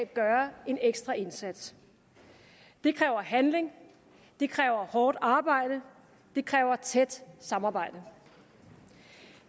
gøre en ekstra indsats det kræver handling det kræver hårdt arbejde det kræver tæt samarbejde